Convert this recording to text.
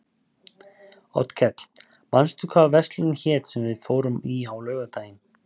Oddkell, manstu hvað verslunin hét sem við fórum í á laugardaginn?